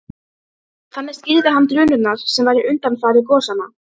Þannig skýrði hann drunurnar sem væru undanfari gosanna.